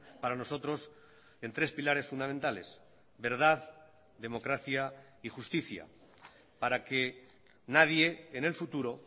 para nosotros en tres pilares fundamentales verdad democracia y justicia para que nadie en el futuro